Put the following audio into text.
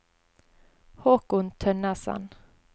Håkon Tønnesen